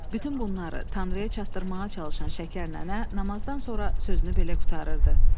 Bütün bunları Tanrıya çatdırmağa çalışan Şəkər nənə namazdan sonra sözünü belə qurtarırdı: